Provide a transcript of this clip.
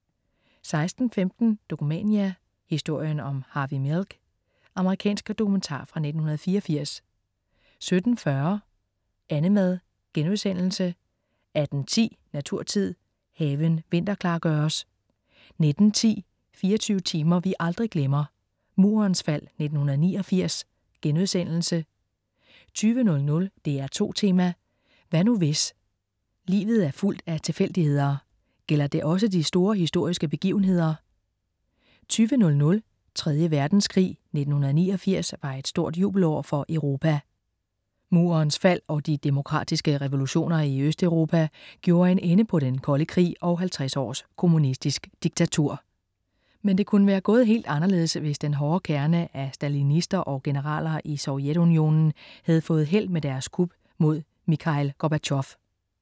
16.15 Dokumania: Historien om Harvey Milk. Amerikansk dokumentar fra 1984 17.40 Annemad* 18.10 Naturtid. Haven vinterklargøres 19.10 24 timer vi aldrig glemmer. Murens fald 1989* 20.00 DR2 Tema: Hvad nu hvis. Livet er fuldt af tilfældigheder. Gælder det også de store historiske begivenheder? 20.00 Tredje Verdenskrig. 1989 var et stort jubelår for Europa. Murens fald og de demokratiske revolutioner i Østeuropa gjorde en ende på Den Kolde Krig og 50 års kommunistisk diktatur. Men det kunne være gået helt anderledes, hvis den hårde kerne af stalinister og generaler i Sovjetunionen havde fået held med deres kup mod Mikhail Gorbatjov